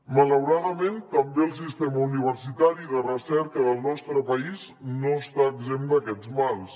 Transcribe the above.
malauradament també el sistema universitari de recerca del nostre país no està exempt d’aquests mals